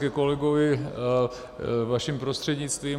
Ke kolegovi vaším prostřednictvím.